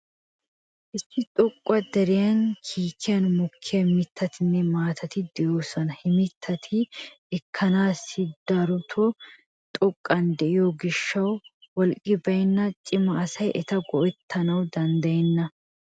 Issi xoqqa deriya kiikiyan mokkiya mittatinne maatati de'oosona. He mittati ekkanaassi daroto xoqqan de'iyo gishshawu wolqqi baynna cima asay eta go'ettanawu danddayenna.